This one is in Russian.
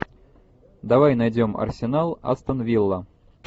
давай найдем арсенал астон вилла